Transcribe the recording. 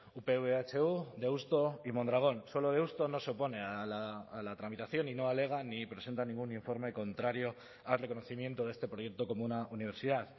upv ehu deusto y mondragon solo deusto no se opone a la tramitación y no alega ni presenta ningún informe contrario al reconocimiento de este proyecto como una universidad